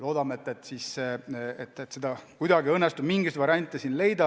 Loodame, et kuidagi õnnestub mingeid variante lahenduseks leida.